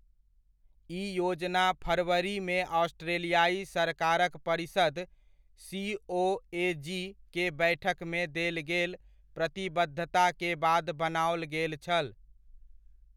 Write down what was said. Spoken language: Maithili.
ई योजना फरवरीमे ऑस्ट्रेलियाइ सरकारक परिषद, सीओएजी के बैठकमे देल गेल प्रतिबद्धता के बाद बनाओल गेल छल।